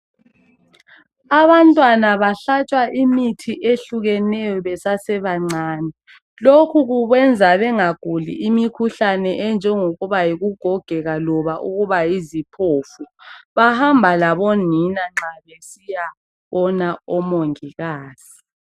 abantwana abahlatshwa imithi ehlukeneyo basasebancane lokhu kubenza bengaguli imikhuhlane enjengokuba yikugogeka kumbe ukuba yiziphofu bahamba labonina nxa besiyabona omongikazi